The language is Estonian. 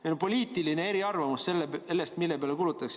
Meil on poliitiline eriarvamus sellest, mille peale kulutatakse.